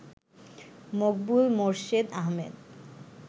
Maqbool Morshed Ahmed